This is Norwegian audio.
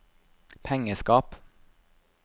pengeskap